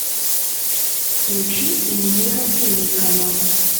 включи индиго тв канал